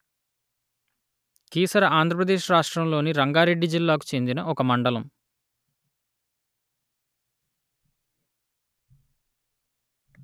కీసర ఆంధ్ర ప్రదేశ్ రాష్ట్రములోని రంగారెడ్డి జిల్లాకు చెందిన ఒక మండలము